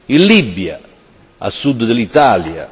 in Libia, a sud dell'Italia